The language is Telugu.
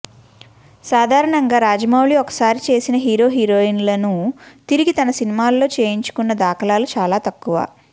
సాధారణంగా రాజమౌళి ఒకసారి చేసిన హీరోహీరోయిన్లను తిరిగి తన సినిమాల్లో చేయించుకున్న దాఖలాలు చాలా తక్కువ